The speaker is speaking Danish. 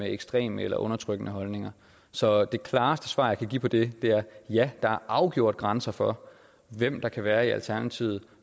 er ekstreme eller undertrykkende holdninger så det klareste svar jeg kan give på det er ja der er afgjort grænser for hvem der kan være i alternativet